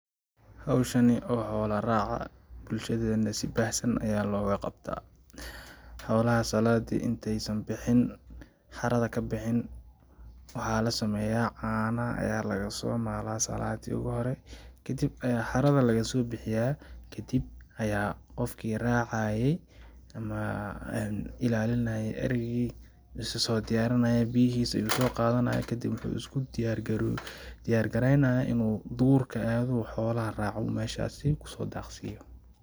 Hawshani oo xoola raaca ,bulshadeena si baahsan ayaa looga qabtaa ,xoolaha saladii inteey san bixin xarada ka bixin ,waxaa la sameyaa canaha ayaa lagasoo malaa salaadii ugu hore ,kadib ayaa xarada lagsoo bixiyaa kadib ayaa qofkii racaaye amaa ilaalinaaye arigii isasoo diyarinayaa ,biyahiisa ayuu soo qadanayaa ,kadib waxuu isku diyaar garoow...diyaar gareynayaa inuu duurka aado oo xoolaha raaco oo meeshaasi kusoo daaqsiiyo .